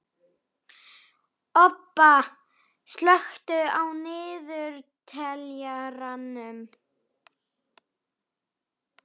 Obba, slökktu á niðurteljaranum.